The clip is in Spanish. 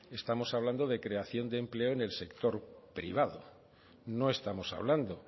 estamos hablando en el sector privado no estamos hablando